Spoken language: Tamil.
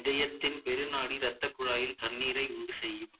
இதயத்தின் பெருநாடி இரத்தக் குழாயில் தண்ணீரை உண்டுசெய்யும்